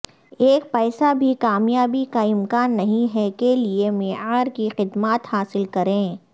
ایک پیسہ بھی کامیابی کا امکان نہیں ہے کے لئے معیار کی خدمات حاصل کریں